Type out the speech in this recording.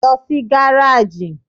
Lọ sí gáràjì!